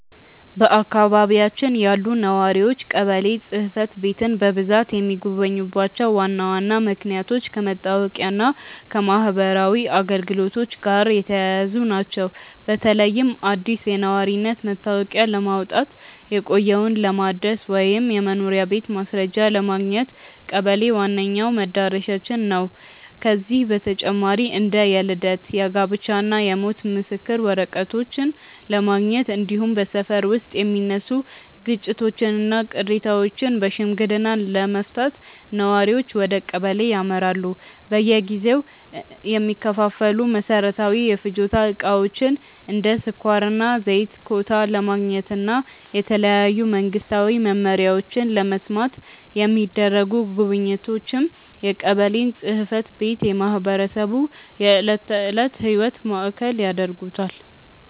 በአካባቢያችን ያሉ ነዋሪዎች ቀበሌ ጽሕፈት ቤትን በብዛት የሚጎበኙባቸው ዋና ዋና ምክንያቶች ከመታወቂያና ከማኅበራዊ አገልግሎቶች ጋር የተያያዙ ናቸው። በተለይም አዲስ የነዋሪነት መታወቂያ ለማውጣት፣ የቆየውን ለማደስ ወይም የመኖሪያ ቤት ማስረጃ ለማግኘት ቀበሌ ዋነኛው መድረሻችን ነው። ከዚህ በተጨማሪ እንደ የልደት፣ የጋብቻና የሞት የምስክር ወረቀቶችን ለማረጋገጥ፣ እንዲሁም በሰፈር ውስጥ የሚነሱ ግጭቶችንና ቅሬታዎችን በሽምግልና ለመፍታት ነዋሪዎች ወደ ቀበሌ ያመራሉ። በየጊዜው የሚከፋፈሉ መሠረታዊ የፍጆታ ዕቃዎችን (እንደ ስኳርና ዘይት) ኮታ ለማግኘትና የተለያዩ መንግስታዊ መመሪያዎችን ለመስማት የሚደረጉ ጉብኝቶችም የቀበሌን ጽሕፈት ቤት የማኅበረሰቡ የዕለት ተዕለት ሕይወት ማዕከል ያደርጉታል።